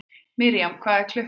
Mirjam, hvað er klukkan?